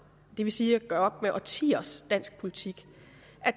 det vil sige gøre op med årtiers dansk politik